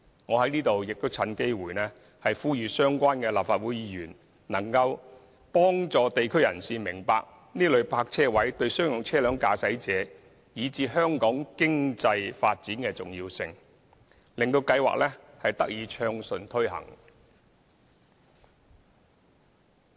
我在此亦趁機會呼籲相關的立法會議員，幫助地區人士明白這類泊車位對商用車輛駕駛者，以至香港經濟的重要性，使計劃得以暢順推行。